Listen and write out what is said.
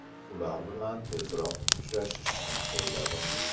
Ular bilan tezroq uchrashishni o‘yladim.